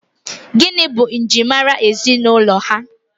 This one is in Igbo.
Gịnị bụ njirimara ezinụlọ ha?